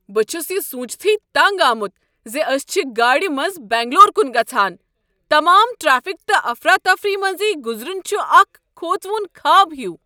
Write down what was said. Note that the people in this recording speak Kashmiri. بہٕ چھس یہ سونٛچتھٕے تنٛگ آمت ز أسۍ چھ گاڑ منٛز بنٛگلور کن گژھان۔ تمام ٹریفک تہٕ افراتفری منزۍ گزرُن چھ اکھ کھوژوُن خواب ہیُو۔